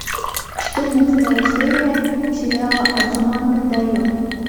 четырнадцатая серия сериала адзуманга дайо